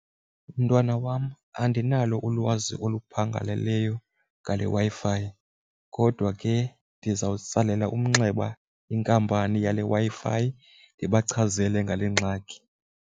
Mntwana wam, andinalo ulwazi oluphangaleleyo ngale Wi-Fi kodwa ke ndizawutsalela umnxeba inkampani yale Wi-Fi ndibachazele ngale ngxaki.